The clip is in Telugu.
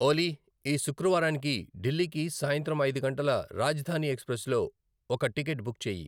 ఓలీ, ఈ శుక్రవారానికి ఢిల్లీకి సాయంత్రం ఐదు గంటల రాజధాని ఎక్స్ప్రెస్లో ఒక టికెట్ బుక్ చేయి